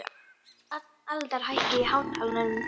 Aldar, hækkaðu í hátalaranum.